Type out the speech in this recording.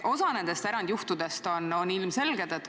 Osa nendest erandjuhtudest on ilmselged.